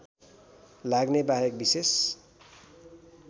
लाग्ने बाहेक विशेष